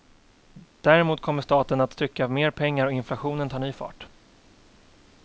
Däremot kommer staten atttrycka mer pengar och inflationen tar ny fart.